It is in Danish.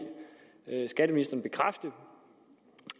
skatteministeren bekræfte